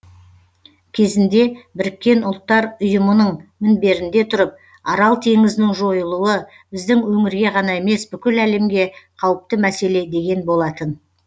кезінде біріккен ұлттар ұйымының мінберінде тұрып арал теңізінің жойылуы біздің өңірге ғана емес бүкіл әлемге қауіпті мәселе деген болатын